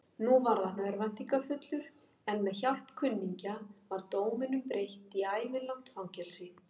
Nú varð hann örvæntingarfullur, en með hjálp kunningja var dóminum breytt í ævilangt fangelsi.